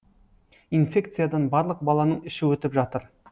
инфекциядан барлық баланың іші өтіп жатыр